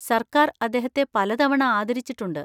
സര്‍ക്കാര്‍ അദ്ദേഹത്തെ പലതവണ ആദരിച്ചിട്ടുണ്ട്.